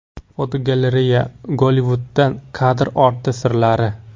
Fotogalereya: Gollivudda kadr orti sirlari.